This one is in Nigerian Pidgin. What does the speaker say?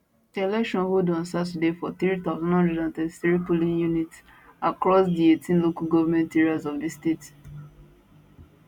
di election hold on saturday for 3933 polling units across di 18 local government areas of di state